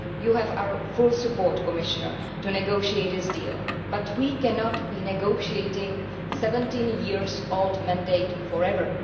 You have our full support, Commissioner, to negotiate this deal, but we cannot be negotiating with a 17 year old mandate for ever.